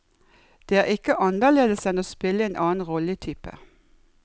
Det er ikke annerledes enn å spille en annen rolletype.